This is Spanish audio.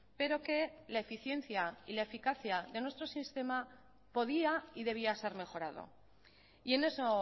pero que la eficiencia y la eficacia de nuestro sistema podía y debía ser mejorado y en eso